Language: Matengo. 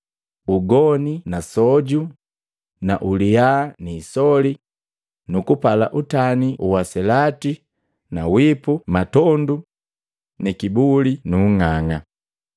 ugoni na soju nu uliya ni isoli nu kupala utani wa uselati na wipu matondu nu kibuli nu ung'ang'a.